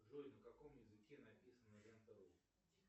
джой на каком языке написана лента ру